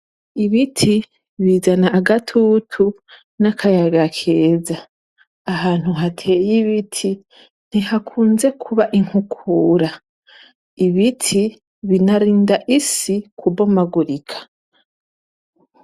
Ibiti bizana agatutu n'akayaga keza. Ahantu hateye ibiti ntihakunze kuba inkukura. Ibiti binarinda isi kubomagurika.